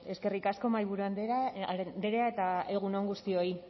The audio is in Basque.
bueno eskerrik asko mahaiburu andrea eta egun on guztioi